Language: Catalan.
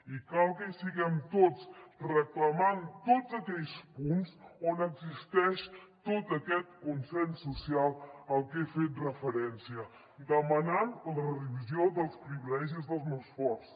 i cal que hi siguem tots reclamant tots aquells punts on existeix tot aquest consens social al que he fet referència demanant la revisió dels privilegis dels més forts